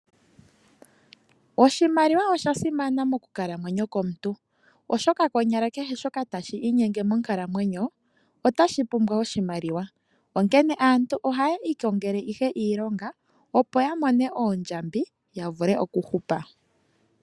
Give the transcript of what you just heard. Oshimaliwa osha simana mokukalamwenyo komuntu, oshoka konyala kehe shoka tashi inyenge monkalamwenyo otashi pumbwa oshimaliwa, onkene aantu ohaye ikongele ihe iilonga opo ya mone oondjambi yavule okuhupa.